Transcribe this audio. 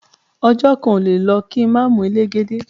Ọjo kan ole le lo ki ma mu elegede